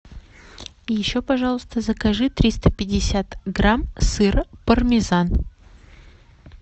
и еще пожалуйста закажи триста пятьдесят грамм сыра пармезан